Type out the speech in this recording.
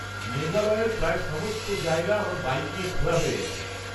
-মেঘালয়ের প্রায় সমস্ত জায়গা আমার বাইক নিয়ে ঘোরা হয়ে গেছে।